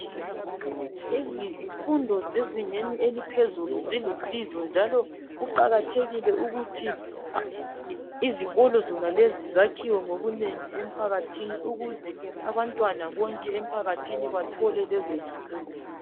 Izifundo zezingeni eliphezulu zilusizo njalo kuqakathekile ukuthi izikolo zonalezi zakhiwe ngokunengi empakathini ukuze abantwana bonke empakathini bathole lezo zifundo.